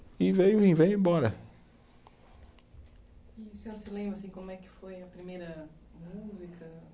E veio e vem, e bora. E o senhor se lembra, assim, como é que foi a primeira música?